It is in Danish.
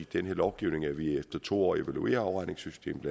den her lovgivning at vi efter to år evaluerer afregningssystemet